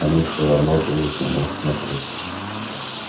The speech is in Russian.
они все равно будут на нас смотреть